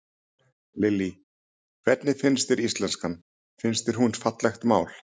Lillý: Hvernig finnst þér íslenskan, finnst þér hún fallegt mál?